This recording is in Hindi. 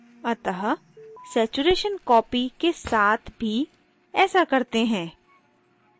अतः saturation copy के साथ भी ऐसा करते हैं